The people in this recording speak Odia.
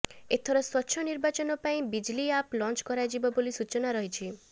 ଏଥର ସ୍ବଚ୍ଛ ନିର୍ବାଚନ ପାଇଁ ବିଜିଲି ଆପ୍ ଲଞ୍ଚ କରାଯିବ ବୋଲି ସୂଚନା ରହିଛି